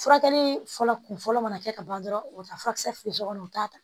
Furakɛli fɔlɔ kun fɔlɔ mana kɛ ka ban dɔrɔn o bɛ taa furakisɛ feere kɔnɔ u t'a ta